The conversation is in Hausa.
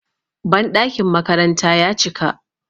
banɗakin makaranta ya cika